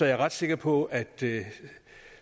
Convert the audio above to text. jeg ret sikker på at det